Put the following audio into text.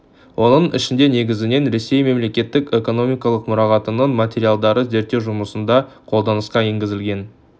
оның ішінде негізінен ресей мемлекеттік экономикалық мұрағатының материалдары зерттеу жұмысында қолданысқа енгізілді